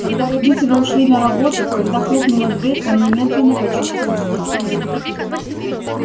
когда родители ушли на работу когда хлопнула дверь он немедленно почувствовал страх